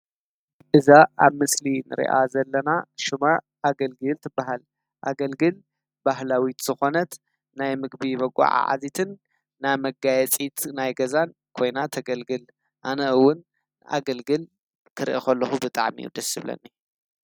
እዛ አብ ምስሊ ንሪኣ ዘለና ሽማ አገልግል ትበሃል ኣገልግል ባህላዊት ዝኾነት ናይ ምግቢ መጎዓዐዚትን ናይ መጋየፂት ገዛ ኮይና ተገልግል ::አነ ዉን አገልግል ክርኢ ከለኹ ብጣዕሚ ደስ ይብለኒ ።